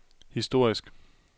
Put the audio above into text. historisk